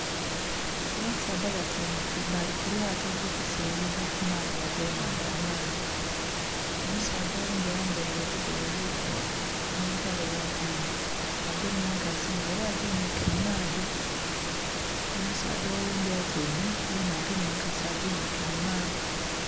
Abasaadha batyaime balli kumato elili kuseyeza ku maadhi age nhandha amangi, omusaadha oghundhi ayambire olugoye olwirugavu nhe mpale eya giini, agemye nkasi nga era aginhike mu maadhi. Omusaadha oghundhi atyaime yena agemye enkasi eginhike mu maadhi.